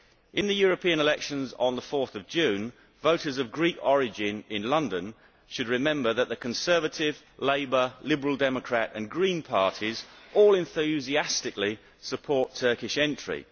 In the European elections on 4 June, voters of Greek origin in London should remember that the Conservative, Labour, Liberal Democrat and Green Parties all enthusiastically support Turkish entry.